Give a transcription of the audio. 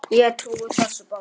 Ég trúi þessu bara.